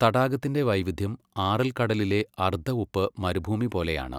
തടാകത്തിന്റെ വൈവിധ്യം ആറൽ കടലിലെ അർദ്ധ ഉപ്പ് മരുഭൂമി പോലെയാണ്.